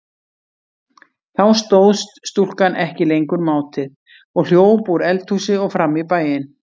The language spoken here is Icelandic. Þá stóðst stúlkan ekki lengur mátið og hljóp úr eldhúsi og fram í bæinn.